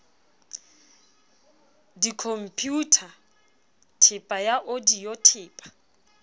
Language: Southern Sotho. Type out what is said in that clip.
dikhompeuta theepa ya odiyo theepa